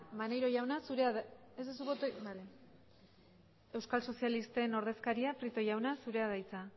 maneiro jauna zurea da ez duzu botorik bale euskal sozialisten ordezkaria prieto jauna zurea da hitza